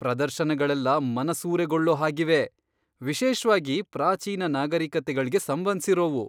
ಪ್ರದರ್ಶನಗಳೆಲ್ಲ ಮನಸೂರೆಗೊಳ್ಳೋ ಹಾಗಿವೆ! ವಿಶೇಷ್ವಾಗಿ ಪ್ರಾಚೀನ ನಾಗರಿಕತೆಗಳ್ಗೆ ಸಂಬಂಧ್ಸಿರೋವು!